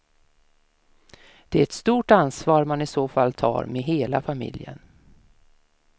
Det är ett stort ansvar man i så fall tar med hela familjen.